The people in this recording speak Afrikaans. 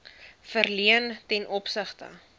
verleen ten opsigte